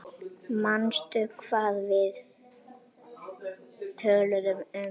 Manstu hvað við töluðum um?